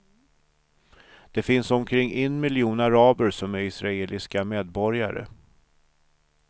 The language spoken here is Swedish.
Det finns omkring en miljon araber som är israeliska medborgare.